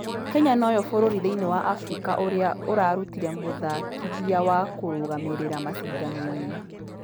Kenya nũyo bũrũri thĩinĩ wa africa ũrĩa ũrarutire mũthakithia wa kũrũgamĩrira mashindano-inĩ.